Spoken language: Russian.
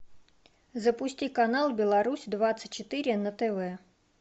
запусти канал беларусь двадцать четыре на тв